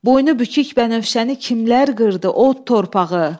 Boynubükük bənövşəni kimlər qırdı, od torpağı.